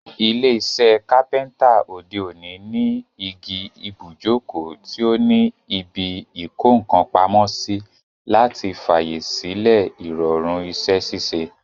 Ilé isẹ́ Kápẹ́ńtà òde òní ní igi ibùjókòó tí o ní ibi ìkókàn pamósí, láti fàyè sílẹ̀ ìrọ̀rùn isẹ́ ṣíṣe,